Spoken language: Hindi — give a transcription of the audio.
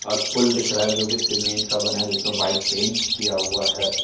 और पूल दिख रहा है जो की सीमेंट का बना है। जिस पे व्हाइट पेंट किया हुआ है।